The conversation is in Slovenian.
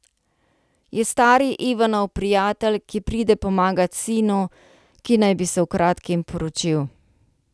Je stari Ivanov prijatelj, ki pride pomagat sinu, ki naj bi se v kratkem poročil.